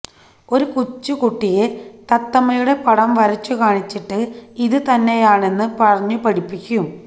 ഒരു കൊച്ചുകുട്ടിയെ തത്തമ്മയുടെ പടം വരച്ചുകാണിച്ചിട്ട് ഇത് തന്നെയാണെന്ന് പറഞ്ഞുപഠിപ്പിക്കും